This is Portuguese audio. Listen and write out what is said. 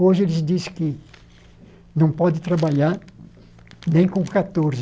Hoje eles dizem que não pode trabalhar nem com catorze